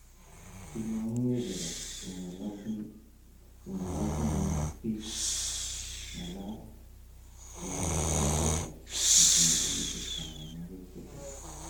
'Imong'unkee Gareth, ong'ololjinen ak biik, ng'alaal,'' kimwa John Toshak netinye kenyisyek tomonwogik tisap.